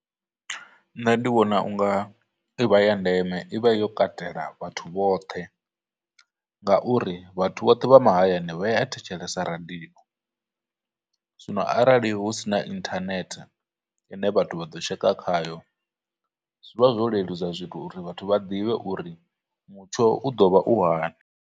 Nṋe ndi vhona u nga i vha ya ndeme, i vha yo katela vhathu vhoṱhe, ngauri vhathu vhoṱhe vha mahayani vha ya thetshelesa radio, zwino arali husina internet ine vhathu vha ḓo tsheka khayo, zwivha zwo leludza uri vhathu vha ḓivhe uri mutsho u ḓo vha u hani.